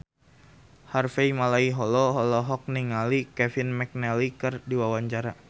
Harvey Malaiholo olohok ningali Kevin McNally keur diwawancara